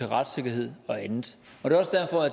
retssikkerhed og andet